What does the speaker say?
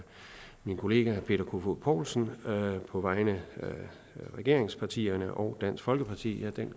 min kollega peter kofod poulsen på vegne af regeringspartierne og dansk folkeparti